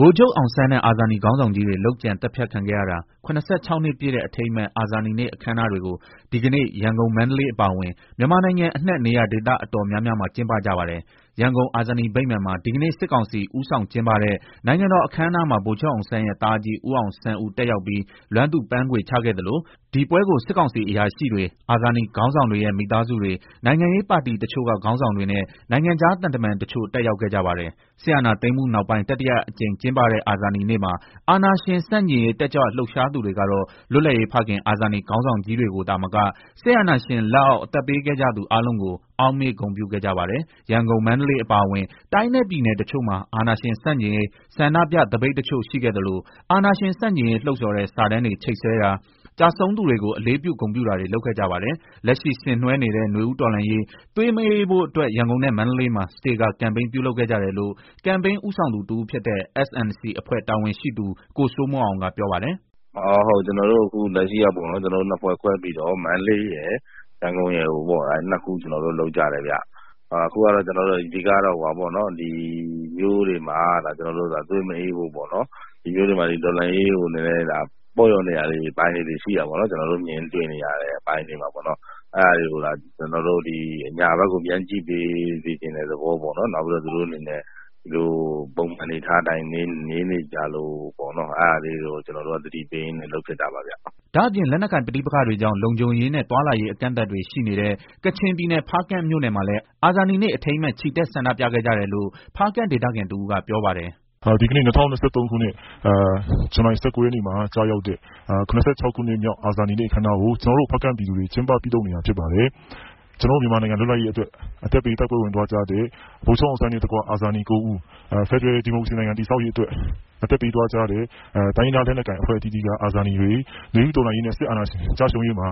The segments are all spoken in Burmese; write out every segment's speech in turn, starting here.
ဗိုလ်ချုပ်အောင်ဆန်းနဲ့ အာဇာနည်ခေါင်းဆောင်ကြီးတွေ လုပ်ကြံသတ်ဖြတ်ခံခဲ့ရတာ ၇၆ နှစ်ပြည့်တဲ့ အထိမ်းအမှတ် အာဇာနည်နေ့ အခမ်းအနားတွေကို ဒီကနေ့ ရန်ကုန်၊ မန္တလေး အပါအဝင် မြန်မာနိုင်ငံအနှံ့ နေရာဒေသ အတော်များများမှာ ကျင်းပကြပါတယ်။ ရန်ကုန် အာဇာနည်ဗိမာန်မှာ ဒီကနေ့ စစ်ကောင်စီ ဦးဆောင် ကျင်းပတဲ့ နိုင်ငံတော်အခမ်းအနားမှာ ဗိုလ်ချုပ်အောင်ဆန်းရဲ့ သားအကြီး ဦးအောင်ဆန်းဦး တက်ရောက် လွမ်းသူပန်းခွေချခဲ့သလို၊ ဒီပွဲကို စစ်ကောင်စီ အရာရှိတွေ၊ အာဇာနည် ခေါင်းဆောင်တွေရဲ့ မိသားစုတွေ၊ နိုင်ငံရေးပါတီတချို့က ခေါင်းဆောင်တွေနဲ့ နိုင်ငံခြား သံတမန် တချို့ တက်ရောက်ခဲ့ကြပါတယ်။ စစ်အာဏာသိမ်းမှုနောက်ပိုင်း တတိယအကြိမ်ကျင်းပတဲ့ အာဇာနည်နေ့မှာ အာဏာရှင် ဆန့်ကျင်ရေး တက်ကြွလှုပ်ရှားသူတွေကတော့ လွတ်လပ်ရေးဖခင် အာဇာနည် ခေါင်းဆောင်ကြီးတွေကိုသာမက စစ်အာဏာရှင်လက်အောက် အသက်ပေးခဲ့ကြသူ အားလုံးကို အောက်မေ့ ဂုဏ်ပြုခဲ့ကြပါတယ်။ ရန်ကုန်၊ မန္တလေး အပါအဝင် တိုင်းနဲ့ ပြည်နယ် တချို့မှာ အာဏာရှင်ဆန့်ကျင်ရေး ဆန္ဒပြ သပိတ်တချို့ ရှိခဲ့သလို၊ အာဏာရှင်ဆန့်ကျင်ရေး လှုံ့ဆော်တဲ့ စာတမ်းတွေ ချိတ်ဆွဲတာ၊ ကျဆုံးသူတွေကို အလေးပြု ဂုဏ်ပြုတာတွေ လုပ်ခဲ့ကြပါတယ်။ လက်ရှိဆင်နွှဲနေတဲ့ နွေဦးတော်လှန်းရေး သွေးမအေးဖို့အတွက် ရန်ကုန်နဲ့ မန္တလေးမှာ စတေကာ ကမ်ပိန်း ပြုလုပ်ခဲ့ကြတယ်လို့ ကမ်ပိန်း ဦးဆောင်သူ တဦးဖြစ်တဲ့ S&C အဖွဲ့ တာဝန်ခံ ကိုစိုးမိုးအောင်က ပြောပါတယ်။ “လက်ရှိကျနော်တို့ နှစ်ဖွဲ့ခွဲပြီးတော့ မန္တလေးရယ် ရန်ကုန်ရယ် နှစ်ခုလုပ်ကြတယ်ဗျာ၊ အဓိကတော့ ကျနော်တို့ ဒီမြို့တွေမှာ သွေးမအေးဖို့ ပေါ့နော် တော်လှန်ရေးမှာလည်း ပေါ့လျော့နေတဲ့ အပိုင်းလေးတွေ ရှိတာပေါ့နော် ကျနော်တို့ မြင်တွေ့နေရတယ်၊ အဲတာကျနော်တို့ အညာဖက်ကို ပြန်ကြည့်ပေးစေချင်တဲ့သဘောပေါ့နော် နောက်ပြီးတော့ ကျနော်တိုအနေနဲ့ ဒီအတိုင်းနေနေကြလို့ အဲတာကို သတိပေးရင်းနဲ့ လုပ်ဖြစ်တာပါဗျာ။” ဒါ့အပြင် လက်နက်ကိုင်ပဋိပက္ခတွေကြောင့် လုံခြုံရေးနဲ့ သွားလာရေး အကန့်အသတ်တွေ ရှိနေတဲ့ ကချင်ပြည်နယ်ဖားကန့်မြို့နယ်မှာလည်း အာဇာနည်နေ့ အထိမ်းအမှတ် ချီတက် ဆန္ဒပြခဲ့ကြတယ်လို့ ဖားကန့်ဒေသခံတဦးက ပြောပါတယ်။ “ ဒီကနေ့ ၂၀၂၃ ခုနှစ် ဇူလိုင် ၁၉ရက်နေ့မှာ ကျရောက်တဲ့ ၇၆ နှစ်မြောက် အာဇာနည်နေ့ အခမ်းအနားကို ကျနော်တို့ ဖားကန့်ပြည်သူတွေ ကျင်းပပြုလုပ်နေတာ ဖြစ်ပါတယ်။ ကျနော်တို့ မြန်မာနိုင်ငံ လွတ်လပ်ရေးအတွက် အသက်ပေးတိုက်ပွဲ ဝင်သွားကြတဲ့ ဗိုလ်ချုပ်အောင်းဆန်းနဲ့ အာဇာနည် ၉ဦးဖယ်ဒရယ် ဒီမိုကရေစီတည်ဆောက်ရေး အတွက်အသက်ပေးသွားကြတဲ့ တိုင်းရင်းသား လက်နက်ကိုင်အသီးသီးက အာဇာနည်တွေ နွေဦးတော်လှန်ရေးနဲ့ စစ်အာဏာရှင် ကျရှုံးရေးမှာ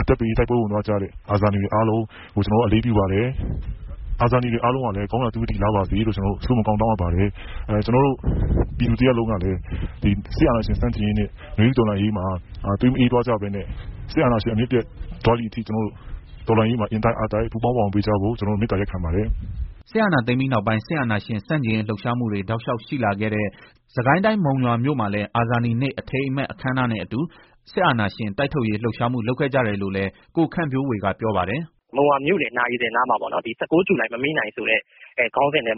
အသက်ပေးတိုက်ပွဲ ဝင်သွားကြတဲ့ အာဇာနည်တွေ အားလုံးကို ကျနော်တို့ အလေးပြုပါတယ်။ အာဇာနည်တွေ အားလုံး ကောင်းရာသုကတိလားပါစေ။ ကျနော်တို့ ပြည်သူတရပ်လုံး ကလည်း နွေဦးတော်လှန်ရေးနဲ့ စစ်အာဏာရှင်ဆန့်ကျင်ရေးမှာ သွေးမအေးသွားကြဖို့နဲ့ စစ်အာဏာရှင် အမြစ်ပြတ်သွားတဲ့ အထိတော်လှန်ရေးမှာ အင်တိုက်အားတိုက် ပူပေါင်းပါဝင်ပေးကြဖို့ မေတ္တာရပ်ခံပါတယ်။ ” စစ်အာဏာသိမ်းပြီးနောက်ပိုင်း စစ်အာဏာရှင်ဆန့်ကျင်ရေး လှုပ်ရှားမှုတွေ တောက်လျှောက် ရှိလာခဲ့တဲ့ စစ်ကိုင်းတိုင်း မုံရွာမြို့မှာလည်း အာဇာနည်နေ့ အထိမ်းအမှတ် အခမ်းအနားနဲ့အတူ စစ်အာဏာရှင် တိုက်ထုတ်ရေး လှုပ်ရှားမှု လုပ်ခဲ့ကြတယ်လို့လည်း ကိုခန့်ဝေဖြိုးက ပြောပါတယ်။ “မုံရွာမြို့လည်နာရီ စင်နားမှာ ၁၉ ဂျူလိုင် မမေ့နိုင်ဆိုပြီး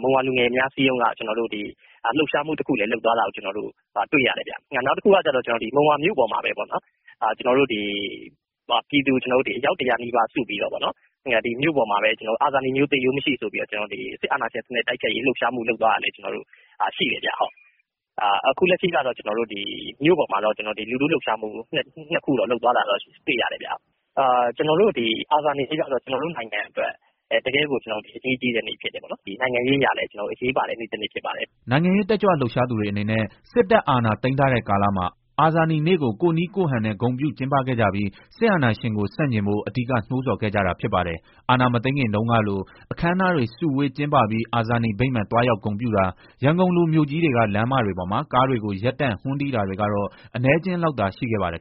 မုံရွာလူငယ်များ အစည်းအရုံးကလှုပ်ရှားမှုတခု လုပ်တာလည်း တွေ့ရတယ်။ နောက်တခုကတော့ မုံရွာမြို့ပေါ်မှာပဲ ပြည်သူအယောက် ၁၀၀နီးပါးစုပြီးတော့ အာဇာနည်မျိုး သေရိုးမရှိ ဆိုပြီး စစ်အာဏာရှင် တိုက်ထုတ်ရေး လှုပ်ရှားမှု လုပ်တာလည်း ရှိတယ်။ ခု လက်ရှိကတော့ မြို့ပေါ် မှာတော့ လူထုလှုပ်ရှားမှု ၂ ခု လုပ်တာတွေ့ရတယ်။ အာဇာနည်နေ့ကတော့ ကျနော်တို့ နိုင်ငံအတွက် တကယ့်ကို အရေးကြီးတဲ့နေ့ ဖြစ်တယ်။ နိုင်ငံရေးအရလည်း အရေးပါတဲ့နေ့တနေ့ဖြစ်ပါတယ်။” နိုင်ငံရေး တက်ကြွလှုပ်ရှားသူတွေ အနေနဲ့ စစ်တပ်အာဏာ သိမ်းထားတဲ့ကာလမှာ အာဇာနည်နေ့ကို ကိုယ့်နည်းကိုယ့်ဟန်နဲ့ ဂုဏ်ပြု ကျင်းပခဲ့ကြပြီး စစ်အာဏာရှင်ကို ဆန့်ကျင်ဖို့ အဓိက နိုးဆော်ခဲ့ကြတာ ဖြစ်ပါတယ်။ အာဏာမသိမ်းခင်တုန်းကလို အခမ်းအနားတွေ စုဝေး ကျင်းပပြီး အာဇာနည်ဗိမာန် သွားရောက် ဂုတ်ပြုတာ၊ ရန်ကုန်လိုမြို့ကြီးတွေက လမ်းမတွေပေါ်မှာ ကားတွေကို ရပ်တန့် ဟွန်းတီးတာတွေ ကတော့ အနည်းအကျဥ်းလောက်သာ ရှိခဲ့ပါတယ်